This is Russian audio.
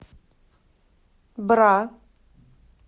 бра